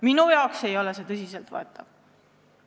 Minu jaoks ei ole see tõsiselt võetav!